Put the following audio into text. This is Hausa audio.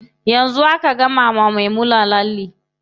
Yanzu aka gama wa Maimuna lalle.